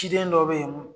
Ciden dɔ bɛ yen